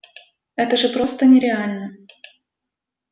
это же просто нереально